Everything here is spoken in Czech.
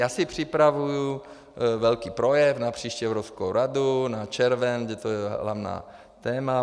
Já si připravuju velký projev na příští Evropskou radu na červen, kdy je to hlavní téma.